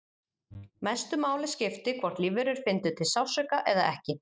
mestu máli skipti hvort lífverur fyndu til sársauka eða ekki